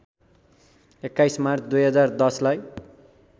२१ मार्च २०१० लाई